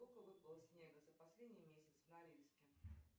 сколько выпало снега за последний месяц в норильске